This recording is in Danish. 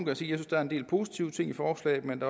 jeg synes der er en del positive ting i forslagene men